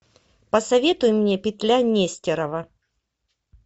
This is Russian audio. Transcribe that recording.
посоветуй мне петля нестерова